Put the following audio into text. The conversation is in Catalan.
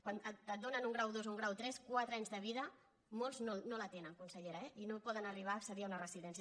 quan et donen un grau dos o un grau tres quatre anys de vida molts no la tenen consellera eh i no poden arribar a accedir a una residència